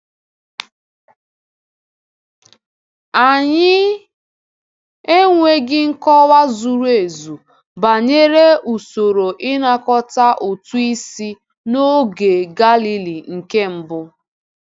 Anyị enweghị nkọwa zuru ezu banyere usoro ịnakọta ụtụ isi n’oge Galili nke mbụ.